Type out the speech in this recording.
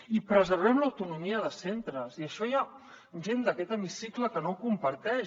i preservem l’autonomia de centres i això hi ha gent d’aquest hemicicle que no comparteix